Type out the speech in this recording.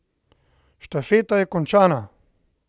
Štafeta je končana!